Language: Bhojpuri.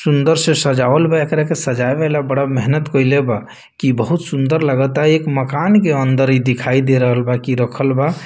सुंदर से सजावल बा एकरा सजावेला बड़ा मेहनत कइले बा की बहुत सुंदर लगाता एक मकान के अंदर इ दिखाई देरहल बा की रखल बा।